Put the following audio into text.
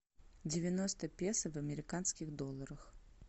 девяносто песо в американских долларах